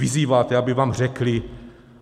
Vyzýváte, aby vám řekli.